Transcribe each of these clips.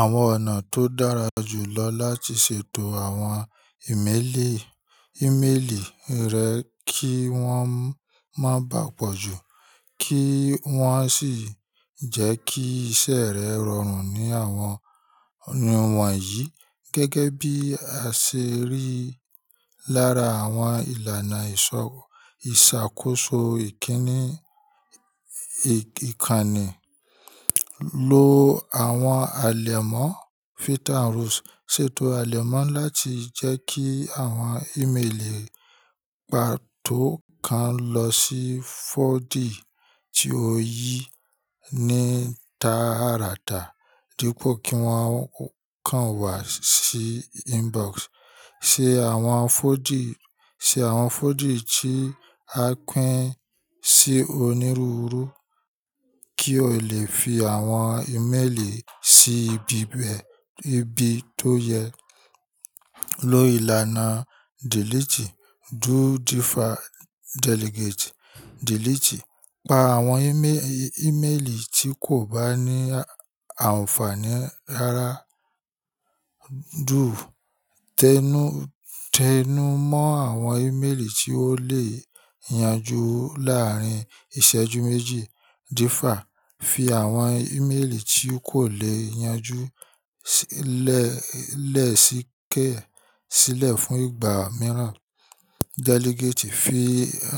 Àwọn ọ̀nà tó dára jù lọ láti ṣètò àwọn ìméelì, ìmeélì rẹ kí wọ́n má bà pọ̀ jù kí wọ́n sì jẹ́ kí iṣẹ́ rẹ rọrùn ní àwọn ọ̀nà wọ̀nyí gẹ́gẹ́ bí aṣerí lára àwọn ìlànà ìṣọ, ìṣàkóso ìkíni, ìkànnì. Lo àwọn àlẹ̀mọ́ filter rules ṣètò àlẹ̀mọ́ láti jẹ́ kí àwọn ìméelì pàtó kan lọ sí folder tí o yí ní tààràtà dípò kí wọ́n kàn wá sí inbox. Ṣe àwọn folder, ṣe àwọn folder tí a pín sí onírúurú kí o lè fi àwọn ìmeélì sí ibi bẹ̀, ibi tó yẹ. Lo ìlànà delete, do defer, delegate, delete. Pa àwọn ìmé, ìmeélì tí kò bá ní àǹfààní rara. Do, tẹnú, tẹnú mọ́ àwọn ìmeélì tí ó lè yanjú láàárín ìṣẹ́jú méjì. Defer, fi àwọn ìmélì tí kò lè yanjú lẹ, lẹ̀ síkẹ́ẹ̀ ẹ sílẹ̀ fún ìgbà mìíràn. Delegate, fi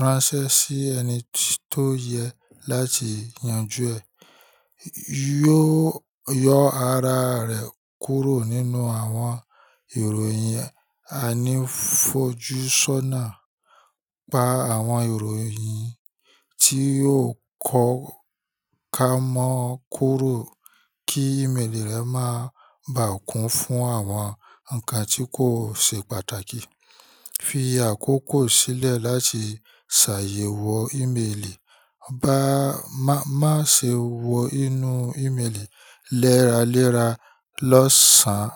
ránṣẹ́ sí ẹni tó yẹ láti yanjú ẹ. Yó yọ ara rẹ kúrò nínú àwọn ìròyìn. Oju sona, pa àwọn ìròyìn yin tí o kọ̀ ká mọ́ kúrò kí ìmeélì rẹ má bàkùn fún àwọn nǹkan tí kò ṣe pàtàkì. Fi àkókò sílẹ̀ láti ṣàyẹ̀wò ìmeélì. Ba, ma, má ṣe wọ inú ìméelì lẹ́raléra lọ́sàn án.